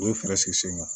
U ye fɛɛrɛ sigi sen kan